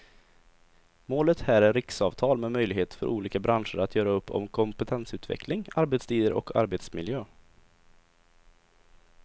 Målet här är riksavtal med möjlighet för olika branscher att göra upp om kompetensutveckling, arbetstider och arbetsmiljö.